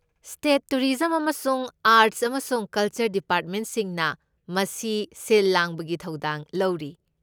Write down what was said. State tourism ꯑꯃꯁꯨꯡ arts ꯑꯃꯁꯨꯡ culture ꯗꯤꯄꯥꯔꯠꯃꯦꯟꯠꯁꯤꯡꯅ ꯃꯁꯤ ꯁꯤꯜ ꯂꯥꯡꯕꯒꯤ ꯊꯧꯗꯥꯡ ꯂꯧꯔꯤ꯫